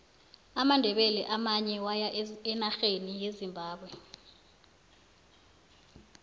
amandebele amanye waya enarheni yezimbabwe